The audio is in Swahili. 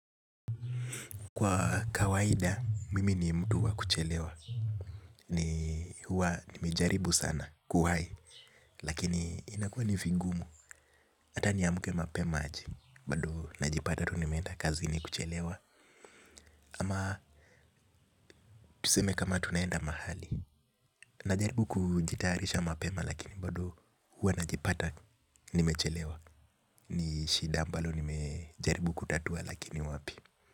Kwa kawaida, mimi ni mtu wa kuchelewa. Ni huwa nimejaribu sana kuhai, lakini inakua nivigumu. Hata niamke mapema aje, bado najipata tu nimeenda kazini kuchelewa. Ama tuseme kama tunaenda mahali. Najaribu kujitayarisha mapema lakini bado huwa najipata nimechelewa. Nishida ambalo nimejaribu kutatua lakini wapi.